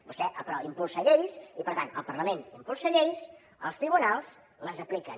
vostè impulsa lleis i per tant el parlament impulsa lleis els tribunals les apliquen